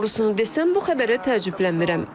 Doğrusunu desəm, bu xəbərə təəccüblənmirəm.